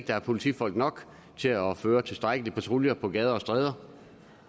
der er politifolk nok til at udføre tilstrækkelige patruljer på gader og stræder